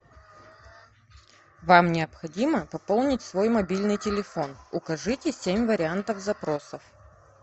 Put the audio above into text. вам необходимо пополнить свой мобильный телефон укажите семь вариантов запросов